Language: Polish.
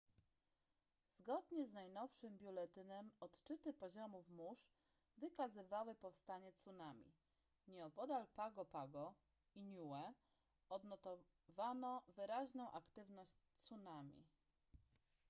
zgonie z najnowszym biuletynem odczyty poziomów mórz wykazywały powstanie tsunami nieopodal pago pago i niue odnotowano wyraźną aktywność tsunami